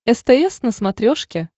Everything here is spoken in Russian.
стс на смотрешке